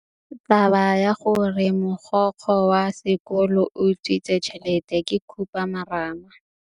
Taba ya gore mogokgo wa sekolo o utswitse tšhelete ke khupamarama.